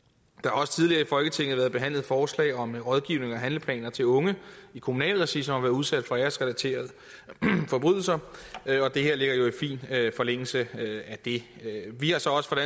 også tidligere i folketinget været behandlet forslag om rådgivning og handleplaner til unge i kommunalt regi som har været udsat for æresrelaterede forbrydelser og det her ligger jo i fin forlængelse af det vi har så også fra